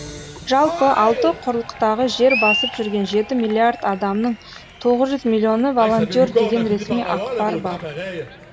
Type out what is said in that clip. жалпы алты құрлықтағы жер басып жүрген жеті миллиард адамның тоғыз жүз миллионы волонтер деген ресми ақпар бар